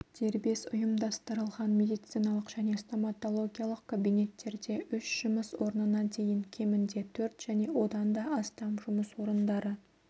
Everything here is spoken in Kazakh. дербес ұйымдастырылған медициналық және стоматологиялық кабинеттерде үш жұмыс орнына дейін кемінде төрт және одан да астам жұмыс орындары